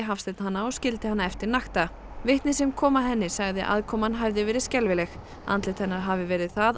Hafsteinn hana og skildi hana eftir nakta vitni sem kom að henni sagði að aðkoman hefði verið skelfileg andlit hennar hafi verið það